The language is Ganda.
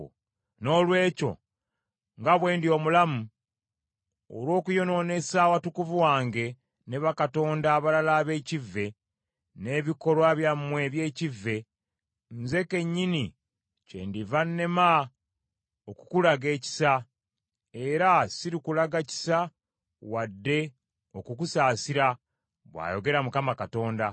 Noolwekyo nga bwe ndi omulamu, olw’okuyonoonesa awatukuvu wange ne bakatonda abalala ab’ekivve, n’ebikolwa byammwe eby’ekivve, nze kennyini kyendiva nnema okukulaga ekisa, era sirikulaga kisa wadde okukusaasira, bw’ayogera Mukama Katonda.